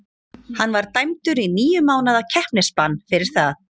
Hann var dæmdur í níu mánaða keppnisbann fyrir það.